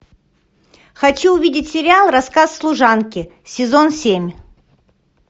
хочу увидеть сериал рассказ служанки сезон семь